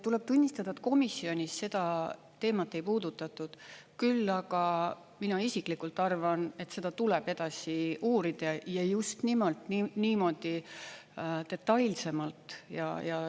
Tuleb tunnistada, et komisjonis seda teemat ei puudutatud, küll aga mina isiklikult arvan, et seda tuleb edasi uurida, ja just nimelt niimoodi detailsemalt.